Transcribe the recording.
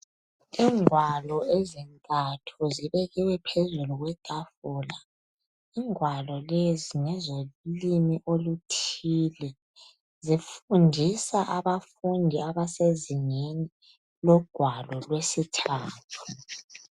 Ingwalo ezintathu zibekiwe phezulu kwethafula ,ingwalo lezi ngezolimi oluthile .Zifundisa abafundi abasezingeni logwalo lwesithathu.